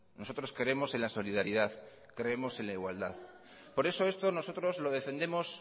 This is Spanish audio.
nosotros creemos en la solidaridad creemos en la igualdad por eso esto nosotros lo defendemos